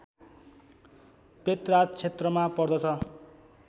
Petra क्षेत्रमा पर्दछ